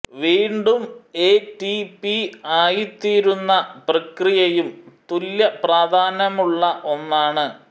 വീണ്ടും A T P ആയിത്തീരുന്ന പ്രക്രിയയും തുല്യപ്രാധാന്യമുള്ള ഒന്നാണ്